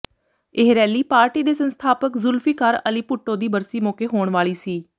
ਇਹ rally party ਦੇ ਸੰਸਥਾਪਕ ਜ਼ੁਲਫਿਕਾਰ ਅਲੀ ਭੁੱਟੋ ਦੀ ਬਰਸੀ ਮੌਕੇ ਹੋਣ ਵਾਲੀ ਸੀ